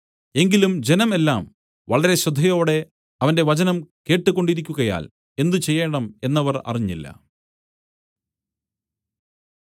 എങ്കിലും ജനം എല്ലാം വളരെ ശ്രദ്ധയോടെ അവന്റെ വചനം കേട്ട് കൊണ്ടിരിക്കുകയാൽ എന്ത് ചെയ്യേണം എന്നവർ അറിഞ്ഞില്ല